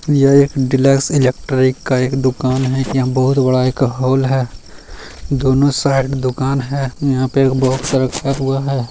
ये एक deluxe electric का एक दुकान है यहाँ बहुत बड़ा एक हॉल है दोनों साइड दुकान है यहाँ पे एक बॉक्स रखा हुआ है।